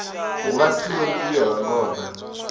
hu vhasiwe miḓi ya vhangona